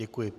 Děkuji.